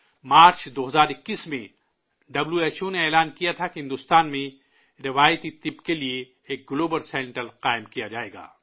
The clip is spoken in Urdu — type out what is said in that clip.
مارچ، 2021 میں ڈبلیو ایچ او نے اعلان کیا تھا کہ بھارت میں روایتی میڈیسن کے لیے ایک گلوبل سنٹر قائم کیا جائے گا